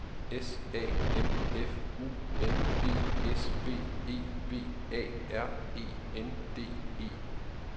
S A M F U N D S B E V A R E N D E